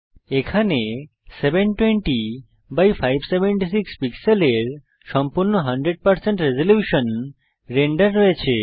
এখানে 720576 পিক্সেলের সম্পূর্ণ 100 রেজল্যুশন রেন্ডার রয়েছে